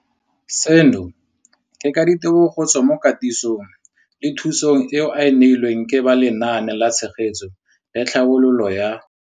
Seno ke ka ditebogo go tswa mo katisong le thu song eo a e neilweng ke ba Lenaane la Tshegetso le Tlhabololo ya